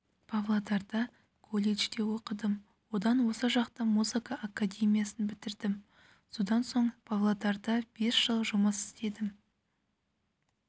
павлодарда колледжде оқыдым одан осы жақта музыка академиясын бітірдім одан соң павлодарда бес жыл жұмыс істедім